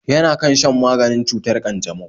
Yana kan shan maganin cutar ƙanjamau